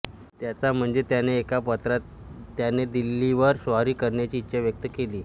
त्याच्या म्हणजे त्याने एका पत्रात त्याने दिल्लीवर स्वारी करायची इच्छा व्यक्त केली